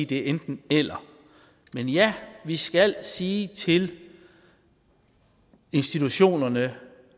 det er enten eller men ja vi skal sige til institutionerne